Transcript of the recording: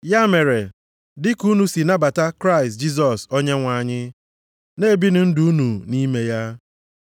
Ya mere, dị ka unu si nabata Kraịst Jisọs Onyenwe anyị, na-ebinụ ndụ unu nʼime ya.